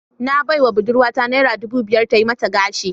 Na baiwa budurwata naira dubu biyar ta yi mata gashi